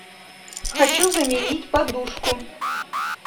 хочу заменить подушку